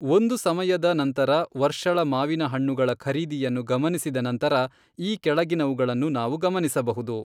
ಒಂದು ಸಮಯದ ನಂತರ ವರ್ಷಳ ಮಾವಿನ ಹಣ್ಣುಗಳ ಖರೀದಿಯನ್ನು ಗಮನಿಸಿದ ನಂತರ ಈ ಕೆಳಗಿನವುಗಳನ್ನು ನಾವು ಗಮನಿಸಬಹುದು.